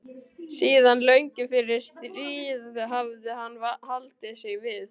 Síðan löngu fyrir stríð hafði hann haldið sig við